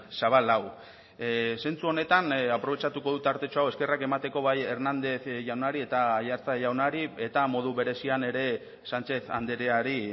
zabal hau zentzu honetan aprobetxatuko du tartetxo hau eskerrak emateko bai hernández jaunari eta aiartza jaunari eta modu berezian ere sánchez andreari